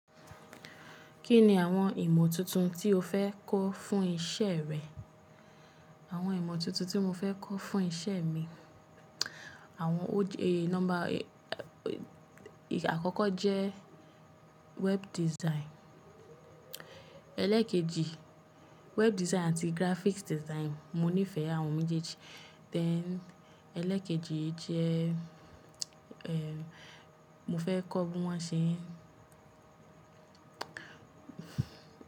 Kí ni àwọn ìmọ̀ tuntun tí o fẹ́ kọ́ fún iṣẹ́ rẹ? Àwọn ìmọ̀ tuntun tí mo fẹ́ kọ́ fún iṣẹ́ mi, àwọn ó jẹ, number, àkọ́kọ́ jẹ́ web design. Elekeji, web design àti graphic design. Mo nífẹ̀ẹ́ àwọn méjèèjì. Then, elekeji jẹ́, ehn, mo fẹ́ kọ́ bí wọ́n ṣe.